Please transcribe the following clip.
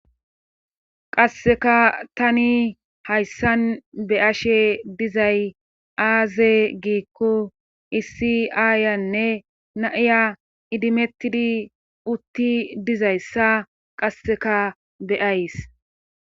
qasseka tani hayssan be ashe dizay aaze giikko issi aayanne naiya idimettidi utti dizayssa qasseka be'ays